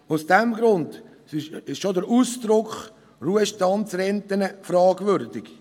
Aus diesem Grund ist schon der Ausdruck «Ruhestandsrente» fragwürdig.